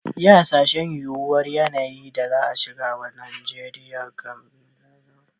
Yi Hasashen yuwuwar yanayi da ci gaba wajen magancewa da rage musabbabin mutuwa.